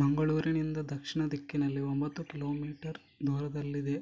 ಮಂಗಳೂರಿನಿಂದ ದಕ್ಷಿಣ ದಿಕ್ಕಿನಲ್ಲಿ ಒಂಬತ್ತು ಕಿ ಮೀ ದೂರದಲ್ಲಿದೆ